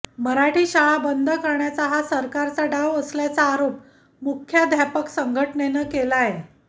मराठी शाळा बंद करण्याचा हा सरकारचा डाव असल्याचा आरोप मुख्याध्यापक संघटनेनं केलाय